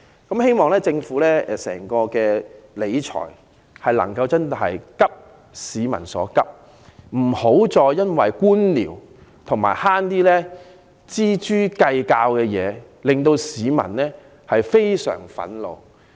我希望政府理財時確能"急市民所急"，不要再因為官僚而錙銖計較，因為這會令市民非常憤怒。